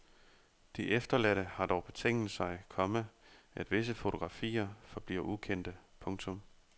De efterladte har dog betinget sig, komma at visse fotografier forbliver ukendte. punktum